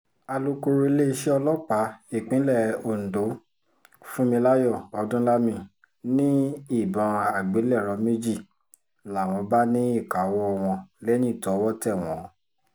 alūkọ̀rọ̀ iléeṣẹ́ ọlọ́pàá ìpínlẹ̀ ondo funmilayo odúnlami ni ìbọn àgbélẹ̀rọ méjì làwọn bá ní ìkáwọ́ wọn lẹ́yìn tọwọ́ tẹ̀ wọ́n